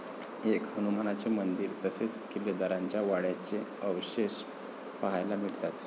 एक हनुमानाचे मंदिर तसेच किल्लेदाराच्या वाड्याचे अवशेष पहायला मिळतात.